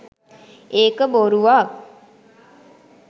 ඒක බොරුවක්.